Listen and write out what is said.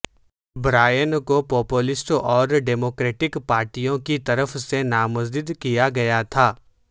Brian کو populist اور democratic پارٹیوں کی طرف سے نامزد کیا گیا تھا